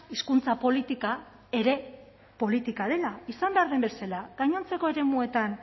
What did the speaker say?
hizkuntza politika ere politika dela izan behar den bezala gainontzeko eremuetan